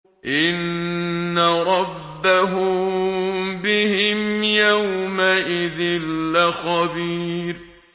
إِنَّ رَبَّهُم بِهِمْ يَوْمَئِذٍ لَّخَبِيرٌ